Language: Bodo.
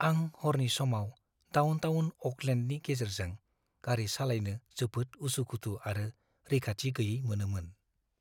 आं हरनि समाव डाउनटाउन अ'कलेन्डनि गेजेरजों गारि सालायनो जोबोद उसु-खुथु आरो रैखाथि गैयै मोनोमोन।